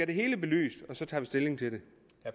det hele belyst og så tager vi stilling til det